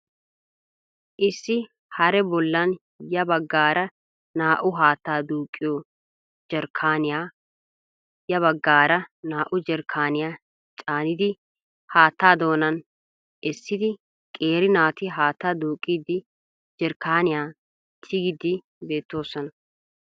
Issi haree bollan ya baggaara naa"u haattaa duuqqiyo jerkkaaniya ya baggaara naa"u jerkkaaniya caanidi haattaa doonan essidi qeeri naati haattaa duuqqidi jerkkaaniyan tigiiddi beettoosona.